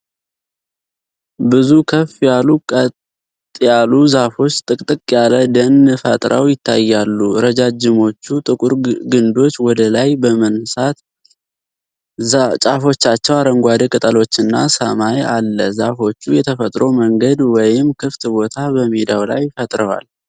ብዙ ከፍ ያሉ ቀጥ ያሉ ዛፎች ጥቅጥቅ ያለ ደን ፈጥረው ይታያሉ። ረጃጅሞቹ ጥቁር ግንዶች ወደ ላይ በመንሳት ጫፎቻቸው አረንጓዴ ቅጠሎችና ሰማይ አለ። ዛፎቹ የተፈጥሮ መንገድ ወይም ክፍት ቦታ በሜዳው ላይ ፈጥረዋል።